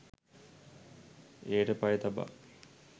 එයට පය තබා